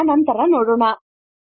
ಇದನ್ನು ನಂತರ ನೋಡೋಣ